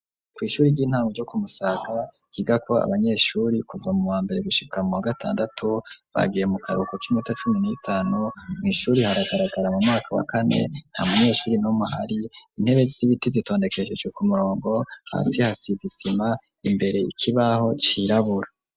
kw'ishure ry'intano ryo kumusaga kiga ko abanyeshuri kuva mu wa mbere gushikam w gatandatu bagiye mu karuhuko k'iminota cumi n'itanu, mu ishuri haragaragara mu myaka wa kane nta munyeshuri nomu hari intebe z'ibiti zitondekeshese ku murongo hasi hasizisima imbere ikibaho cirabura.